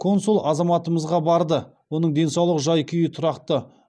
консул азаматымызға барды оның денсаулық жай күйі тұрақты